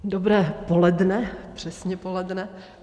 Dobré poledne, přesně poledne.